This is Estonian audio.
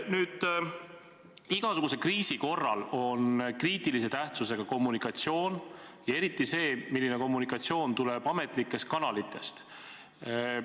Nüüd, igasuguse kriisi korral on kriitilise tähtsusega kommunikatsioon, eriti see, kas eri ametlikest kanalitest tuleb ühene info.